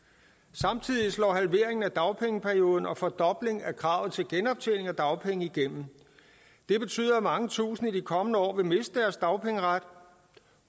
samtidig slår halveringen af dagpengeperioden og fordoblingen af kravet til genoptjening af dagpengene igennem det betyder at mange tusinde i de kommende år vil miste deres dagpengeret